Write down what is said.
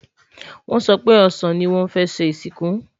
wón so pé ọsán ní wón fẹ ṣé ìsìnkú